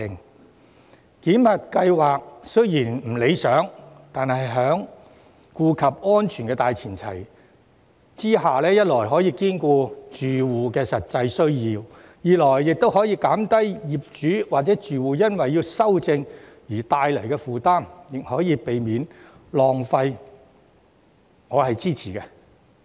雖然檢核計劃並不理想，但在顧及安全的大前提下，一來可兼顧住戶的實際需要，二來可減低業主或住戶因要修正而帶來的負擔，三來可避免浪費，所以我支持檢核計劃。